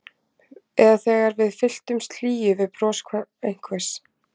Eða þegar við fyllumst hlýju við bros einhvers.